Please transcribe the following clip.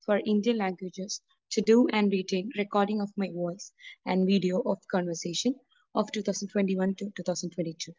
Four Indian languages to do and written recording of my voice and video of conversation of 2021-2022.